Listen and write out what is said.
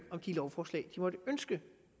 om de lovforslag de måtte ønske